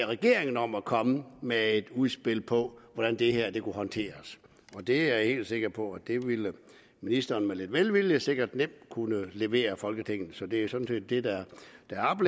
regeringen om at komme med et udspil på hvordan det her kunne håndteres det er jeg helt sikker på ministeren med lidt velvilje sikkert nemt kunne levere folketinget så det er sådan set det der